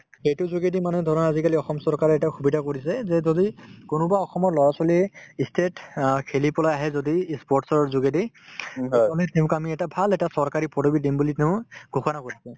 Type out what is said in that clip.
সেইটোৰ যোগেদি মানে ধৰা আজিকালি অসম চৰকাৰে এটা সুবিধা কৰিছে যে যদি কোনোবা অসমৰ লৰা-ছোৱালীয়ে ই state ত অ খেলি পেলাই আহে যদিও ই sports ৰ যোগেদি তেওঁক আমি তেওঁক আমি এটা ভাল এটা চৰকাৰী পদবী দিম বুলি ঘোষণা কৰিছে